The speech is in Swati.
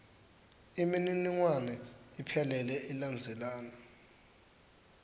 imininingwane iphelele ilandzelana